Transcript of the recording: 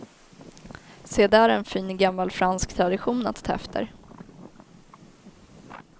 Se där en fin gammal fransk tradition att ta efter.